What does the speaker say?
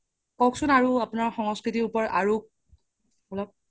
কোকচোন আৰু আপোনাৰ সংস্কৃতিৰ ওপৰত আৰু অলপ